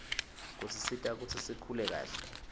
kusisita kutsi sikhule kahle